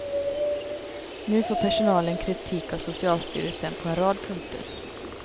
Nu får personalen kritik av socialstyrelsen på en rad punkter.